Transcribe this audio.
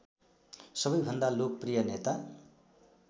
सबैभन्दा लोकप्रिय नेता